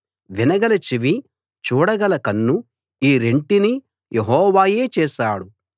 వినగల చెవి చూడగల కన్ను ఈ రెంటిని యెహోవాయే చేశాడు